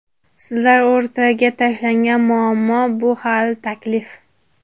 Sizlar o‘rtaga tashlagan muammo bu – hali taklif.